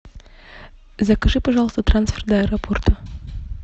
закажи пожалуйста трансфер до аэропорта